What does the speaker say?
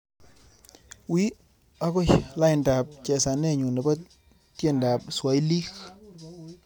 Wiiy ago laindap chesanenyu nebo tyendab swailik